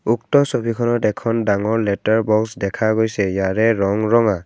উক্ত ছবিখনত এখন ডাঙৰ লেটাৰ বক্স দেখা গৈছে ইয়াৰে ৰং ৰঙা।